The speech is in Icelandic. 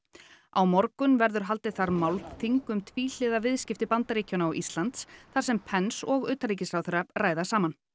á morgun verður málþing um tvíhliða viðskipti Bandaríkjanna og Íslands þar sem Pence og utanríkisráðherra ræða saman